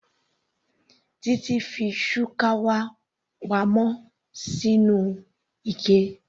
Titi fi shukawa pa mọ́ sínú ike.